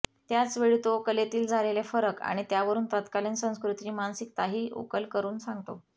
त्याचवेळी तो कलेतील झालेले फरक आणि त्यावरून तत्कालिन संस्कॄतीची मानसिकताही उकल करून सांगतो